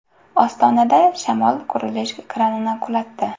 Ostonada shamol qurilish kranini qulatdi .